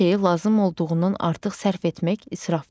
Bir şeyi lazım olduğundan artıq sərf etmək israfdır.